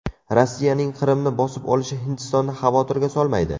Rossiyaning Qrimni bosib olishi Hindistonni xavotirga solmaydi.